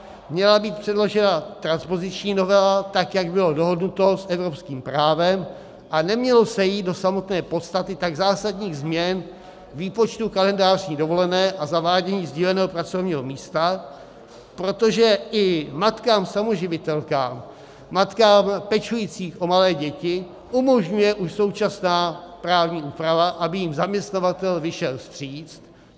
Měla být předložena transpoziční novela, tak jak bylo dohodnuto, s evropským právem a nemělo se jít do samotné podstaty tak zásadních změn výpočtu kalendářní dovolené a zavádění sdíleného pracovního místa, protože i matkám samoživitelkám, matkám pečujícím o malé děti umožňuje už současná právní úprava, aby jim zaměstnavatel vyšel vstříc.